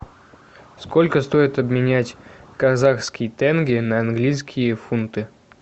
сколько стоит обменять казахский тенге на английские фунты